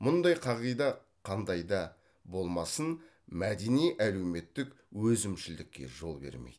мұндай қағида қандай да болмасын мәдени әлеуметтік өзімшілдікке жол бермейді